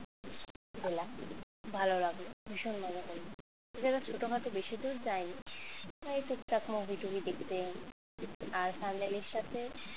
গেলাম ভালো লাগলো ভীষণ মজা করলাম sir এবার ছোটখাটো বেশি দূর যায়নি এই টুকটাক movie টুভি দেখতে আর স্বর্ণালীর সাথে